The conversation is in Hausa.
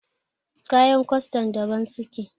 kayan kwastan daban suke